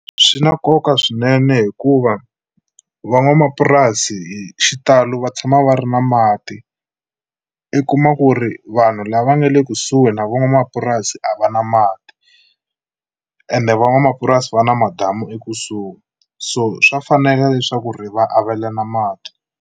Swi na nkoka swinene hikuva van'wamapurasi hi xitalo va tshama va ri na mati i kuma ku ri vanhu lava nga le kusuhi na van'wamapurasi a va na mati ende van'wamapurasi va na madamu ekusuhi, so swa fanela leswaku ri va avelana mati.